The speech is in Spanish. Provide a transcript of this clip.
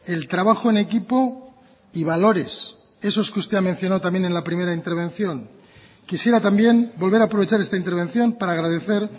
el trabajo en equipo y valores esos que usted ha mencionado también en la primera intervención quisiera también volver a aprovechar esta intervención para agradecer